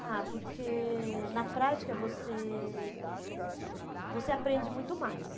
Ah, porque na prática você você aprende muito mais.